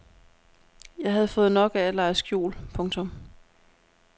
Jeg havde fået nok af at lege skjul. punktum